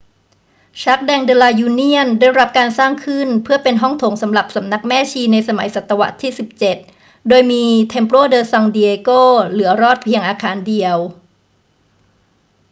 jardín de la unión ได้รับการสร้างขึ้นเพื่อเป็นห้องโถงสำหรับสำนักแม่ชีในสมัยศตวรรษที่ 17 โดยมี templo de san diego เหลือรอดอยู่เพียงอาคารเดียว